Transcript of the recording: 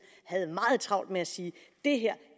havde meget travlt med at sige det her